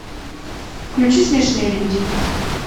включи смешные люди